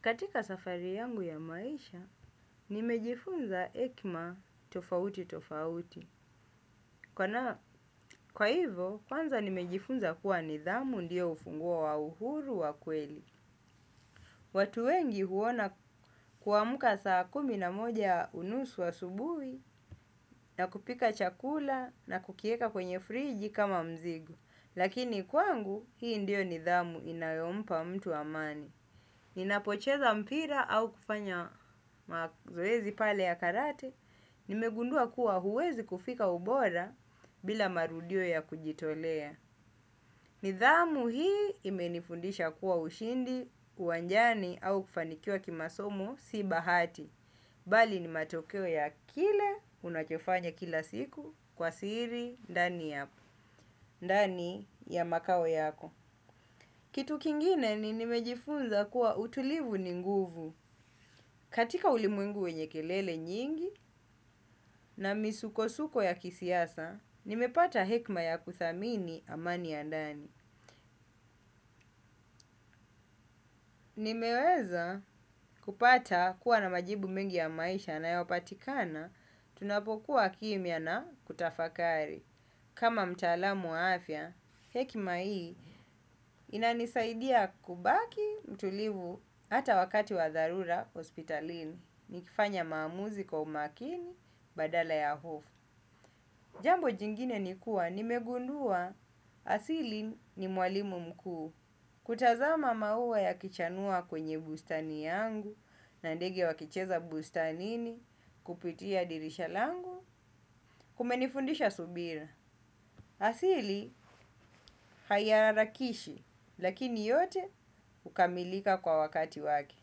Katika safari yangu ya maisha, nimejifunza hekima tofauti tofauti. Kwa hivo, kwanza nimejifunza kuwa nidhamu ndiyo ufunguo wa uhuru wa kweli. Watu wengi huona kuamuka saa kumi na moja unusu asubuhi na kupika chakula na kukieka kwenye friji kama mzigo. Lakini kwangu, hii ndiyo nidhamu inayompa mtu amani. Ninapocheza mpira au kufanya mazoezi pale ya karate, nimegundua kuwa huwezi kufika ubora bila marudio ya kujitolea. Nidhamu hii imenifundisha kuwa ushindi, uwanjani au kufanikiwa kimasomo si bahati. Bali ni matokeo ya kile, unachofanya kila siku, kwa siri, ndani ya makao yako. Kitu kingine ni nimejifunza kuwa utulivu ni nguvu. Katika ulimwengu wenye kelele nyingi na misuko-suko ya kisiasa, nimepata hekima ya kuthamini amani ya ndani. Nimeweza kupata kuwa na majibu mengi ya maisha yanayopatikana, tunapokuwa kimya na kutafakari. Kama mtaalamu wa afya, hekima hii inanisaidia kubaki mtulivu hata wakati wa dharura hospitalini. Nikifanya maamuzi kwa umakini badala ya hofu. Jambo jingine ni kuwa, nimegundua asili ni mwalimu mkuu. Kutazama maua ya kichanua kwenye bustani yangu, na ndege wakicheza bustanini, kupitia dirisha langu, kumenifundisha subira. Asili haiharakishi lakini yote hukamilika kwa wakati wake.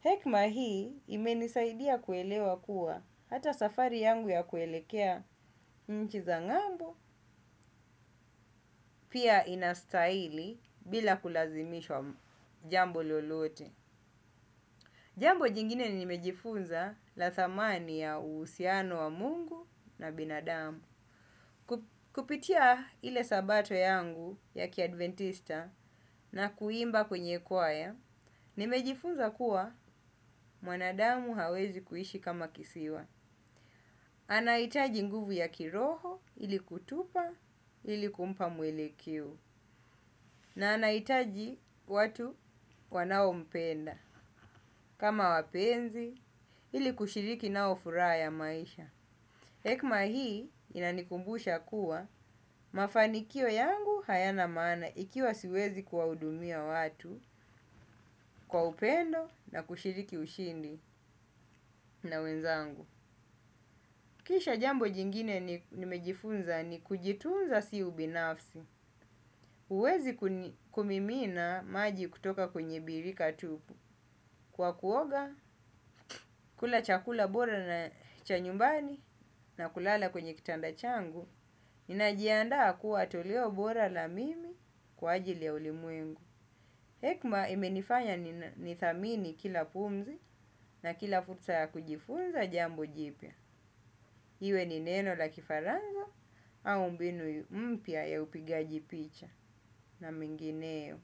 Hekima hii imenisaidia kuelewa kuwa hata safari yangu ya kuelekea nchi za ng'ambo pia inastahili bila kulazimishwa jambo lolote. Jambo jingine nimejifunza la thamani ya uhusiano wa Mungu na binadamu. Kupitia ile sabato yangu ya kiadventista na kuimba kwenye kwaya, nimejifunza kuwa mwanadamu hawezi kuishi kama kisiwa. Anahitaji nguvu ya kiroho ilikutupa ilikumpa mwelekio na anahitaji watu wanaompenda kama wapenzi ilikushiriki nao furaha ya maisha. Hekima hii inanikumbusha kuwa mafanikio yangu hayana maana ikiwa siwezi kuwahudumia watu kwa upendo na kushiriki ushindi na wenzangu. Kisha jambo jingine nimejifunza ni kujitunza si ubinafsi. Uwezi kumimina maji kutoka kwenye birika tupu, kwa kuoga kula chakula bora na cha nyumbani na kulala kwenye kitanda changu. Ninajianda kuwa toleo bora la mimi kwa ajili ya ulimwengu hekima imenifanya ni thamini kila pumzi na kila fursa ya kujifunza jambo jipya. Iwe ni neno la kifarango au mbinu mpya ya upigaji picha na mingineyo.